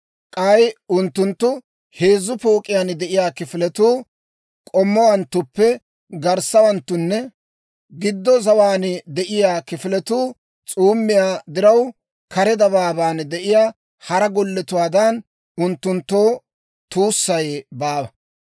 K'ay unttunttu heezzu pook'iyaan de'iyaa kifiletuu k'omowanttuppe garssawanttunne gido zawaan de'iyaa kifiletuu s'uumiyaa diraw kare dabaabaan de'iyaa hara golletuwaadan, unttunttoo tuussay baawa.